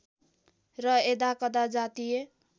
र यदाकदा जातीय